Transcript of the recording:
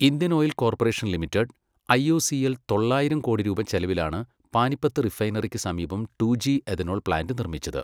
Indian Oil Corporation Limited IOCL തൊള്ളായിരം കോടി രൂപ ചെലവിലാണു പാനിപ്പത്ത് റിഫൈനറിക്കു സമീപം ടുജി എഥനോൾ പ്ലാന്റ് നിർമിച്ചത്.